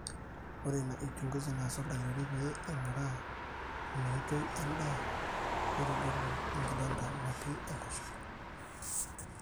ore ina uchungusi naas oldakitari pee eing'uraa inooitoi endaa neitodolu enkidonda natii enkoshoke